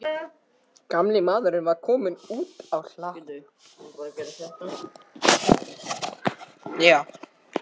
Gamli maðurinn var kominn út á hlað.